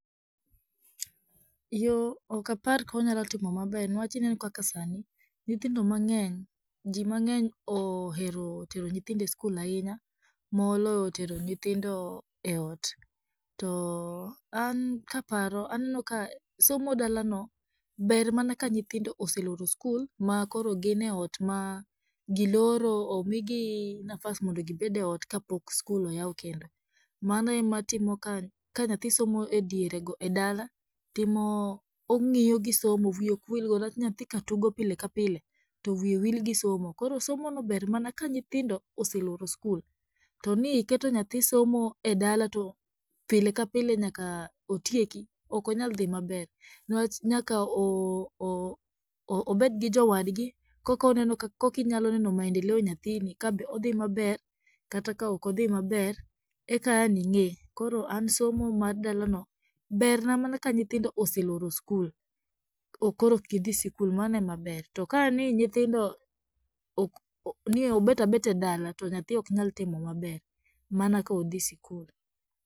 Yoo okapar konyalotimo maber niwach ineno kaka sani, nyithindo mang'eny jii mang'eny ohero tero nyithindo e skul ahinya moloyo tero nyithindo e ot, to an kaparo anenoka somo dalano ber mana ka nyithindo oseloro skul, ma koro gin e ot ma giloro omigi nafas mondo gibed e ot ka pok skul oyaw kendo, mano ematimo ka nyathi somo e dierego e dala timo ong'iyo gi somo wiye okwilgo niwach nyathi ka tugo pile ka pile to wiye wil gi somo, koro somono ber mana ka nyithindo oseloro skul , to ni iketo nyathi somo e dala to pile ka pile nyaka otieki, okonyaldhi maber niwach nyaka oo o obedgi jowadgi kokonenoka kokinyaloneno maendeleo nyathini ka be odhii maber kata ka okodhii maber eka aning'e, koro an somo mar dalano berna mana ka nyithindo oseloro skul, koro okgidhi skul, mano emaber to kani nyithindo ni obetabeta e dala to nyathi oknyaltimo maber mana kodhi skul.